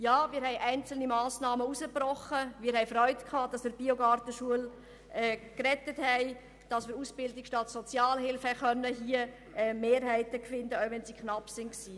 Ja, wir haben einzelne Massnahmen herausgebrochen, wir haben uns über die Rettung der Gartenbauschule Hünibach gefreut sowie darüber, dass wir Mehrheiten finden konnten für Ausbildung statt Sozialhilfe, auch wenn es knapp wurde.